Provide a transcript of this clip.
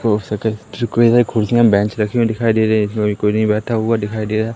हो सके तो कई सारे कुर्सियां बेंच रखे हुए दिखाई दे रहे जिसमें कोई नहीं बैठा हुआ दिखाई दे रहा।